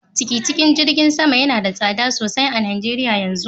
Tikitin jirgin sama yanada tsada sosai a najeria yanzu.